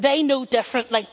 They know differently.